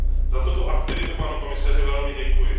Za tuto aktivitu panu komisaři velmi děkuji.